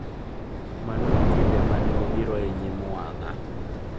Mano e kinde ma ne obiro e nyim wang’a.